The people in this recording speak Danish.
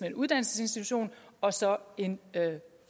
en uddannelsesinstitution og så en